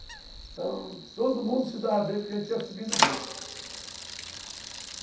Então, todo mundo se dava bem, porque a gente ia subindo junto, uhum.